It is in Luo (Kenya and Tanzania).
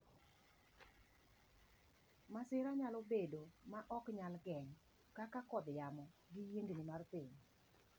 Masira nyalo bedo ma ok nyal geng' kaka kodh yamo, gi yiengni mar piny.